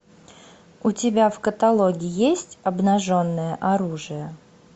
у тебя в каталоге есть обнаженное оружие